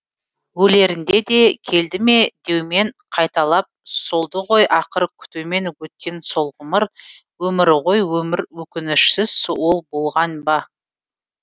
өлерінде де келді ме деумен қайталап солды ғой ақыр күтумен өткен сол ғұмыр өмір ғой өмір өкінішсіз ол болған ба